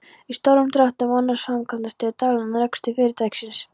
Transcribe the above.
Í stórum dráttum annast framkvæmdastjóri daglegan rekstur fyrirtækisins.